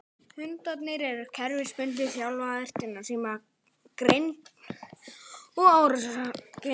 Hundarnir eru kerfisbundið þjálfaðir til að sýna grimmd og árásargirni.